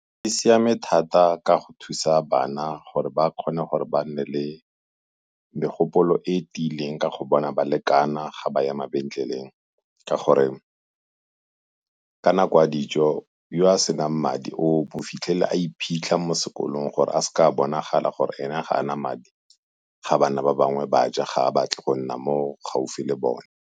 E siame thata ka go thusa bana gore ba kgone gore ba nne le megopolo e tiileng ka go bona ba lekana ga ba ya mabenkeleng, ka gore ka nako ya dijo yo a senang madi o bo o fitlhele a iphitlha mo sekolong gore a seke a bonagala gore ene ga a na madi ga bana ba bangwe ba ja, ga a batle go nna mo gaufi le bone.